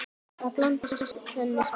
Margt er hér að þakka